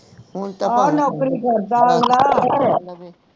ਨੌਕਰੀ ਕਰਦਾ